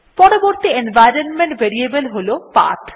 পরবর্তী environment variable হল path